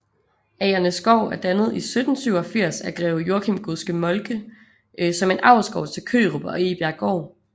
Agernæsgård er dannet i 1787 af greve Joachim Godske Moltke som en avlsgård til Kørup og Egebjerggård